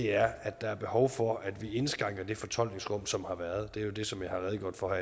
er at der er behov for at vi indskrænker det fortolkningsrum som har været det er det som jeg har redegjort for